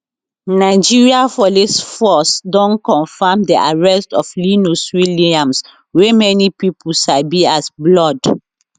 nigeria police force don confam di arrest of linus williams wey many pipo sabi as blord